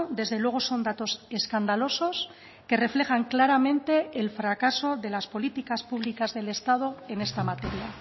desde luego son datos escandalosos que reflejan claramente el fracaso de las políticas públicas del estado en esta materia